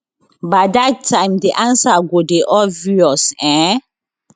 by dat dat time di ansa go dey obvious um